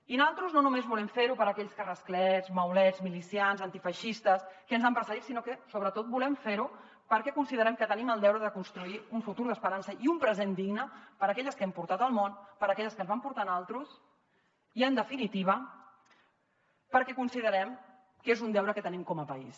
i naltros no només volem fer ho per aquells que rasclets maulets milicians antifeixistes ens han precedit sinó que sobretot volem fer ho perquè considerem que tenim el deure de construir un futur d’esperança i un present digne per a aquelles que hem portat al món per a aquelles que ens van portar a naltros i en definitiva perquè considerem que és un deure que tenim com a país